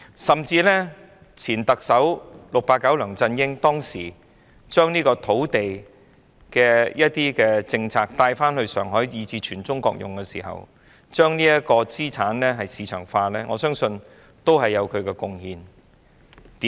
甚至是，前特首 "689" 梁振英當時將土地政策引入上海，並在全國推行，將資產市場化，我相信亦有其貢獻。